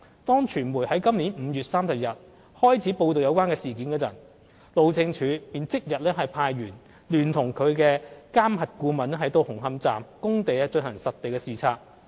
當傳媒在今年5月30日開始報道有關事件時，路政署便即日派員聯同其監核顧問到紅磡站工地進行實地視察。